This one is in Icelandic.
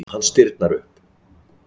Hann stirðnar upp.